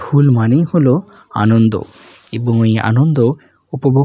ফুল মানেই হল আনন্দ এবং এই আনন্দ উপভোগ--